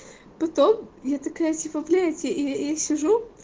потом я такая типа блять я я сижу